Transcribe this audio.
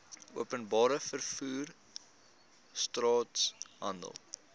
openbare vervoer straathandel